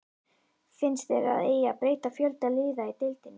Finnst þér að eigi að breyta fjölda liða í deildinni?